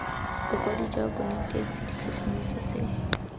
bokwadi jwa bonetetshi ditlhotlhomiso tse